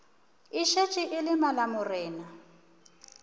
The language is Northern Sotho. e šetše e le malamorena